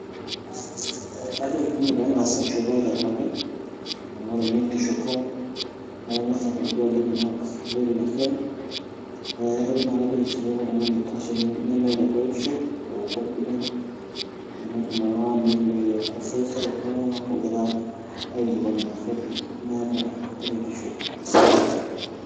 Ee kajoki pee eng'as aishopo aitobiraki amu ore ninye enkishopo naa ing'as aponiki oleng' marks iloito ina siai najoki sii pee eeku oltung'ani oitashe nemeeta enkuretishu confident naa enetum araka nemetumoki aiccessa kulo tung'anak oogira aikilikuani maswali meeta enkuretishu.